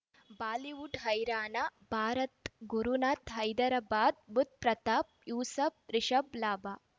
Bollywood ಹೈರಾಣ ಭಾರತ್ ಗುರುನಾಥ್ ಹೈದರಾಬಾದ್ ಬುಧ್ ಪ್ರತಾಪ್ ಯೂಸುಫ್ ರಿಷಬ್ ಲಾಭ